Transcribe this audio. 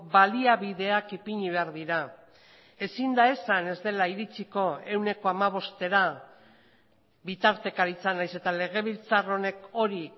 baliabideak ipini behar dira ezin da esan ez dela iritsiko ehuneko hamabostera bitartekaritzan nahiz eta legebiltzar honek hori